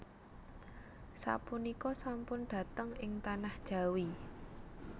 Sapunika sampun dhateng ing tanah Jawi